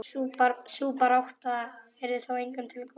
Sú barátta yrði þó engum til góðs.